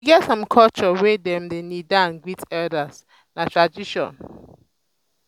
e get some culture wey dem dey kneel down greet elders na tradition.